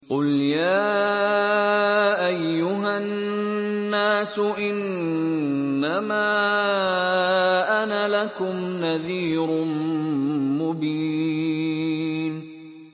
قُلْ يَا أَيُّهَا النَّاسُ إِنَّمَا أَنَا لَكُمْ نَذِيرٌ مُّبِينٌ